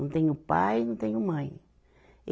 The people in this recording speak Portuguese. Não tenho pai e não tenho mãe.